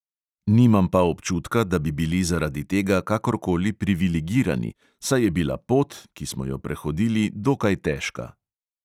Nimam pa občutka, da bi bili zaradi tega kakorkoli privilegirani, saj je bila pot, ki smo jo prehodili, dokaj težka.